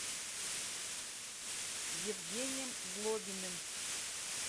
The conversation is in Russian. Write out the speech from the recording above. евгением злобиным